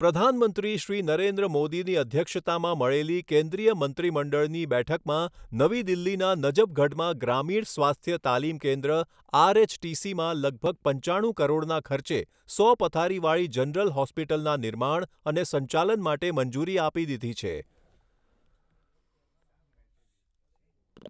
પ્રધાનમંત્રી શ્રી નરેન્દ્ર મોદીની અધ્યક્ષતામાં મળેલી કેન્દ્રીય મંત્રીમંડળની બેઠકમાં નવી દિલ્હીના નજફગઢમાં ગ્રામીણ સ્વાસ્થ્ય તાલીમ કેન્દ્ર આરએચટીસીમાં લગભગ પંચાણું કરોડના ખર્ચે સો પથારીવાળી જનરલ હોસ્પિટલના નિર્માણ અને સંચાલન માટે મંજૂરી આપી દીધી છે.